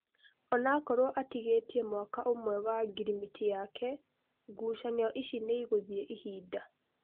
Onakorwo atigĩtie mwaka ũmwe wa ngirimiti yake, ngucanio ici nĩigũthiĩ ihinda